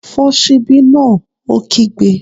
Fọ́ ṣíbí náà! Ó kígbe